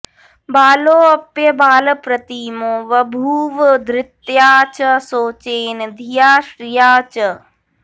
बालोऽप्यबालप्रतिमो बभूव धृत्या च शौचेन धिया श्रिया च